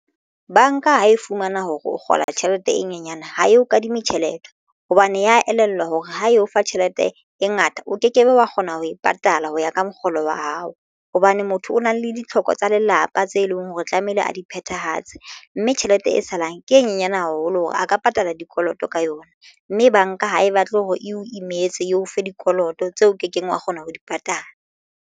Banka ha e fumana hore o kgola tjhelete e nyenyane ha e o kadime tjhelete hobane ya elellwa hore ha e o fa tjhelete e ngata o ke kebe wa kgona ho e patala ho ya ka mokgolo wa hao. Hobane motho o na le ditlhoko tsa tsa lelapa tse leng hore tlamehile a di phethahatse mme tjhelete e salang ke e nyenyane haholo hore a ka patala dikoloto ka yona, mme banka ha e batle hore e o imetse eo fe dikoloto tseo kekeng wa kgona ho di patala.